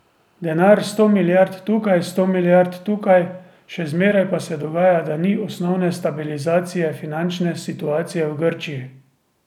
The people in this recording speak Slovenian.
Denar sto milijard tukaj, sto milijard tukaj, še zmeraj pa se dogaja, da ni osnovne stabilizacije finančne situacije v Grčiji.